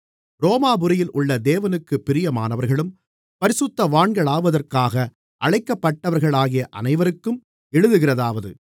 ரோமாபுரியில் உள்ள தேவனுக்குப் பிரியமானவர்களும் பரிசுத்தவான்களாவதற்காக அழைக்கப்பட்டவர்களாகிய அனைவருக்கும் எழுதுகிறதாவது